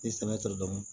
Ni sɛnɛ tɛ dɔn